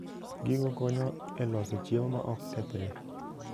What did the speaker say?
Gigo konyo e loso chiemo ma ok kethre.